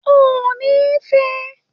O ò ni fẹ!